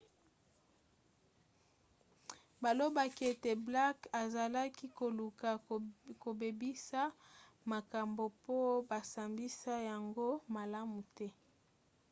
balobaki ete blake azalaki koluka kobebisa makambo po basambisa yango malamu te